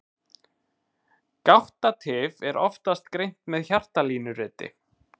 Gáttatif er oftast greint með hjartalínuriti.